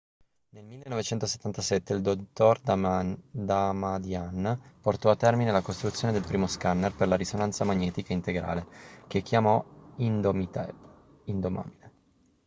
nel 1977 il dott. damadian portò a termine la costruzione del primo scanner per la risonanza magnetica integrale che chiamò indomitable indomabile"